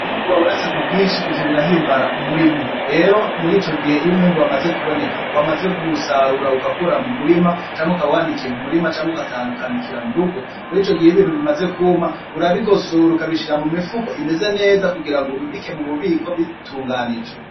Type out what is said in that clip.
Iyo umwimbu wabonetse kubwinshi ivyo birahimbara umurimyi rero murico gihe wamaze kuboneka bamaze kuwusoroma ugakura mumurima canke ukaba wanikiye aho nyene canke ugatahana ukanikira murugo murico gihe iyo ibintu bimaze kuma urabigosora ukabishira mumifuko imeze neza kugirango ubibike mububiko bitunganije.